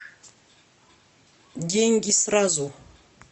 деньги сразу